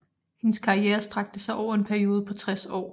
Hendes karriere strakte sig over en periode på 60 år